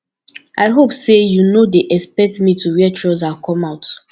i hope say you no dey expect me to wear trouser come out